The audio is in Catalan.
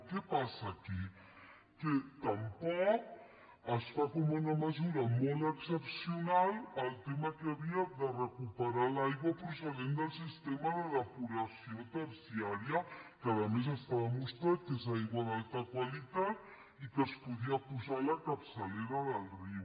què passa aquí que tampoc es fa com una mesura molt excepcional el tema que hi havia de recuperar l’aigua procedent del sistema de depuració terciària que a més està demostrat que és aigua d’alta qualitat i que es podria posar a la capçalera del riu